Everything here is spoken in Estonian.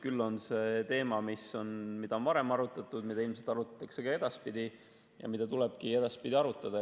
Küll on see teema, mida on varem arutatud, mida ilmselt arutatakse ka edaspidi ja mida tulebki edaspidi arutada.